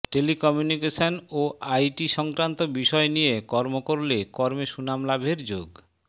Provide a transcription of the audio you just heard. telecommunication ও I T সংক্রান্ত বিষয় নিয়ে কর্ম করলে কর্মে সুনাম লাভের যোগ